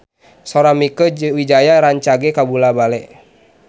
Sora Mieke Wijaya rancage kabula-bale